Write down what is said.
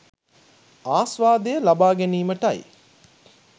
ආස්වාදය ලබා ගැනීමටයි.